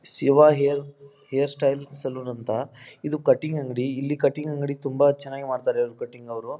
Shiva hairstyle salon ಅಂತ ಇದು cutting ಅಂಗಡಿ ಇಲ್ಲಿ ಕಟಿಂಗ್ ಅಂಗಡಿ ತುಂಬ ಚೆನ್ನಾಗಿ ಮಾಡ್ತಾರೆ ಕಟಿಂಗ್ ಅವರು --